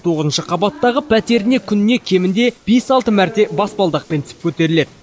тоғызыншы қабаттағы пәтеріне күніне кемінде бес алты мәрте баспалдақпен түсіп көтеріледі